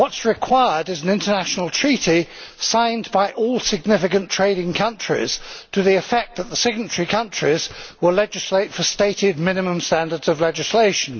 What is required is an international treaty, signed by all significant trading countries, to the effect that the signatory countries will legislate for stated minimum standards of legislation.